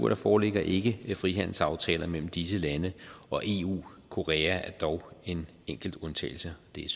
der foreligger ikke frihandelsaftaler mellem disse lande og eu korea er dog en enkelt undtagelse det er